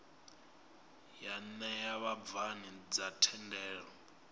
ya ṋea vhabvann ḓa thendelo